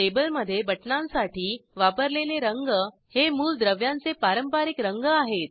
टेबलमधे बटणांसाठी वापरलेले रंग हे मूलद्रव्यांचे पारंपारिक रंग आहेत